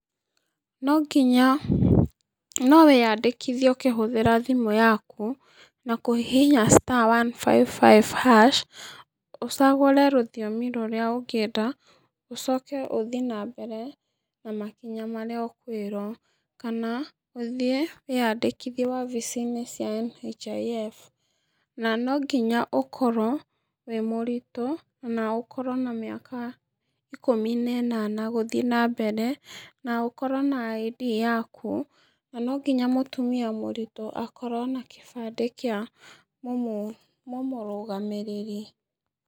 Nonginya, nowĩyandĩkithie ũkĩhũthĩra thimũ yaku, na kũhihinya star one five five hash ũcagũre rũthiomi rũrĩa ũngĩenda, ũcoke ũthii nambere na makinya marĩa ũkwĩrwo, kana, ũthiĩ wĩyandĩkithie obici-inĩ cia NHIF, na nonginya ũkorwo wĩ mũritú, na ũkorwo na mĩaka ikũmi na ĩnana gũthiĩ nambere, na ũkorwo na ID yaku, nanonginya mũtumia mũritũ akorwo na kĩbandĩ kĩa mũmũ mũmũrũgaamĩrĩri.